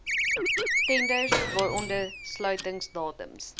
tenders waaronder sluitingsdatums